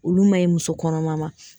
Olu ma ɲi muso kɔnɔma ma.